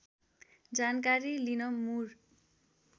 जानकारी लिन मुर